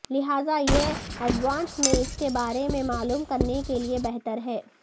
لہذا یہ ایڈوانس میں اس کے بارے میں معلوم کرنے کے لئے بہتر ہے